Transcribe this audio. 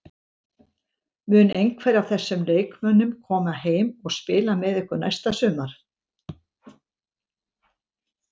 Mun einhver af þessum leikmönnum koma heim og spila með ykkur næsta sumar?